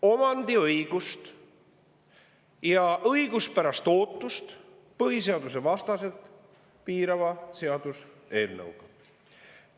Omandiõigust ja õiguspärast ootust põhiseadusvastaselt piirava seaduseelnõuga.